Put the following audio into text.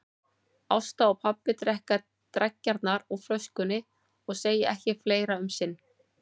Ásta og pabbi drekka dreggjarnar úr flöskunni og segja ekki fleira um sinn.